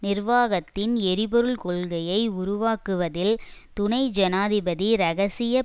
நிர்வாகத்தின் எரிபொருள் கொள்கையை உருவாக்குவதில் துனை ஜனாதிபதி இரகசிய